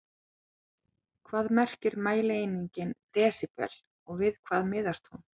Hvað merkir mælieiningin desíbel og við hvað miðast hún?